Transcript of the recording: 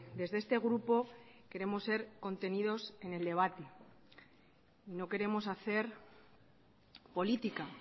desde este grupo queremos ser contenidos en el debate no queremos hacer política